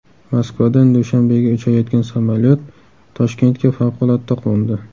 Moskvadan Dushanbega uchayotgan samolyot Toshkentga favqulodda qo‘ndi.